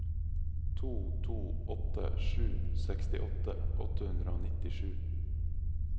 to to åtte sju sekstiåtte åtte hundre og nittisju